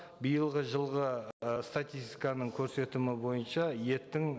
биылғы жылғы ы статистиканың бойынша еттің